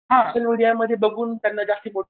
हां सोशल मीडियामध्ये बघून त्यांना जास्त